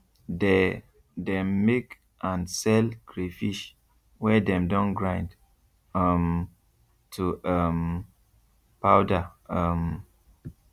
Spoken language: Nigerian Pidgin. they dem make and sell crayfish wey dem don grind um to um powder um